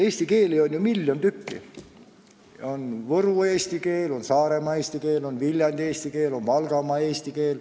Eesti keeli on ju miljon tükki: on Võru eesti keel, on Saaremaa eesti keel, on Viljandi eesti keel, on Valgamaa eesti keel.